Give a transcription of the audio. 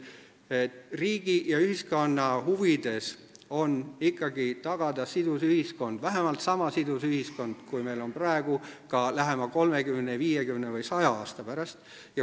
Riigi ja ühiskonna huvides on ikkagi tagada sidus ühiskond – vähemalt sama sidus ühiskond, kui meil on praegu – ka lähema 30, 50 või 100 aasta pärast.